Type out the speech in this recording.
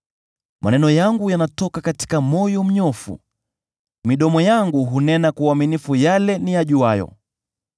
Maneno yangu yanatoka katika moyo mnyofu; midomo yangu hunena kwa uaminifu yale niyajuayo.